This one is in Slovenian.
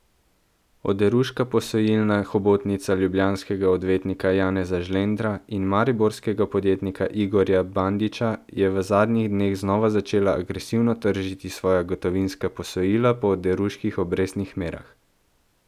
Oderuška posojilna hobotnica ljubljanskega odvetnika Janeza Žlendra in mariborskega podjetnika Igorja Bandića je v zadnjih dneh znova začela agresivno tržiti svoja gotovinska posojila po oderuških obrestnih merah.